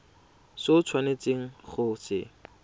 se o tshwanetseng go se